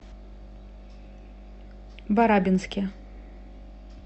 барабинске